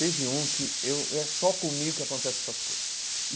Teve um que eu e é só comigo que acontece essas coisas.